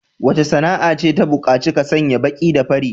Wace sana'a ce ta bukaci ka sanya baki da fari?